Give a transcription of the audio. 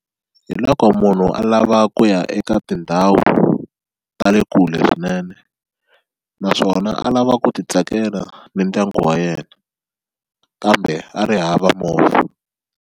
Hi loko munhu a lava ku ya eka tindhawu ta le kule swinene naswona a lava ku ti tsakela na ndyangu wa yena kambe a ri hava movha.